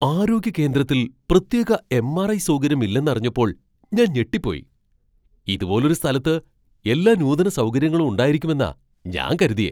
ആരോഗ്യ കേന്ദ്രത്തിൽ പ്രത്യേക എം.ആർ.ഐ, സൗകര്യം ഇല്ലെന്നറിഞ്ഞപ്പോൾ ഞാൻ ഞെട്ടിപ്പോയി. ഇതുപോലൊരു സ്ഥലത്ത് എല്ലാ നൂതന സൗകര്യങ്ങളും ഉണ്ടായിരിക്കുമെന്നാ ഞാൻ കരുതിയേ.